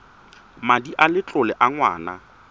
madi a letlole a ngwana